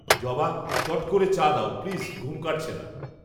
জবা, চট করে চা দাও প্লিজ, ঘুম কাটছে না